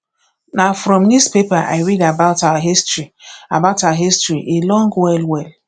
na from newspaper i read about our history about our history e long wellwell